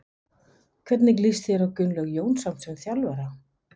Hvernig líst þér á Gunnlaug Jónsson sem þjálfara?